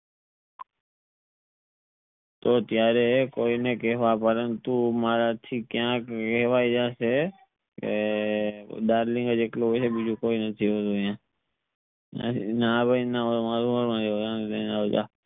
તો ત્યરેહ કોઈ ને કહવા પરંતુ મારા થી ક્યાક કહવાઇ જસે એ એ ડાર્લીંગ જ એકલો હોય છે બીજું કોઈ નથી હોતું આઇયાં ના ભાઈ ના